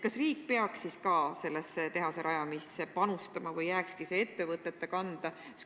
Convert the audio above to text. Kas riik peaks siis ka selle tehase rajamisse panustama või jääks kõik ettevõtete kanda?